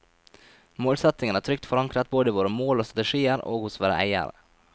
Målsettingen er trygt forankret både i våre mål og strategier, og hos våre eiere.